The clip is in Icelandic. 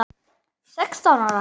Sextán ára?